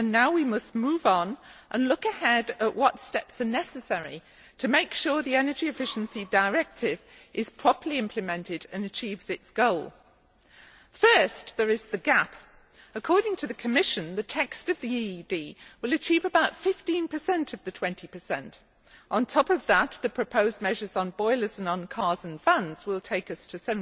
Now we must move on and look ahead at what steps are necessary to make sure the Energy Efficiency Directive is properly implemented and achieves its goal. First there is the gap. According to the Commission, the text of the EED will achieve about 15 of the 20. On top of that, the proposed measures on boilers and on cars and fans will take us to